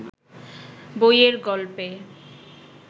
বইয়ের গল্পে